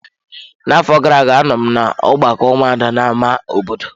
Na afọ gara-aga anọ m na ọgbakọ ụmụada na ámá obodo.